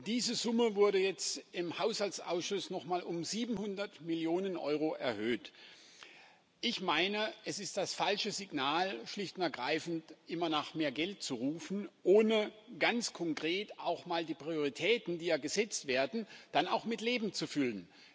Diese Summe wurde jetzt im Haushaltsausschuss noch mal um 700 Mio. Euro erhöht. Ich meine, es ist das falsche Signal, schlicht und ergreifend immer nach mehr Geld zu rufen, ohne ganz konkret auch mal die Prioritäten, die ja gesetzt werden, dann auch mit Leben zu füllen.